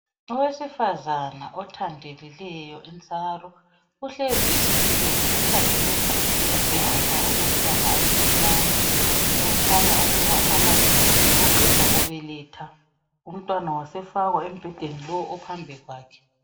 Owesifazana othandelileyo intsaro uhlezi esitulweni ukhangele embhedeni olomntwana omncinyane, okukhanya ukuba umama lo uqeda kubeletha umntwana wasefakwa embhedeni lo phambi kwakhe.